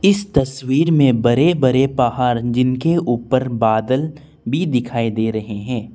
इस तस्वीर में बड़े बड़े पहाड़ जिनके ऊपर बादल भी दिखाई दे रहे है।